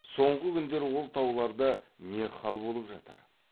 соңғы күндер ол тауларда не хал болып жатыр